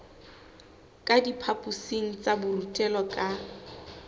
ka diphaphosing tsa borutelo ka